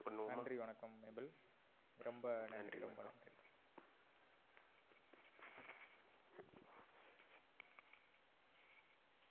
நன்றி வணக்கம். மாபிள் ரொம்ப நன்றி.